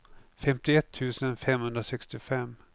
femtioett tusen femhundrasextiofem